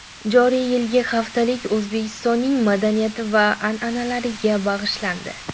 Joriy yilgi haftalik O‘zbekistonning madaniyati va an’analariga bag‘ishlandi.